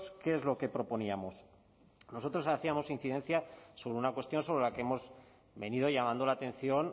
qué es lo que proponíamos nosotros hacíamos incidencia sobre una cuestión sobre la que hemos venido llamando la atención